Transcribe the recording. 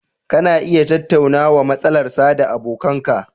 Kana iya tattaunawa matsalar sa da abokan ka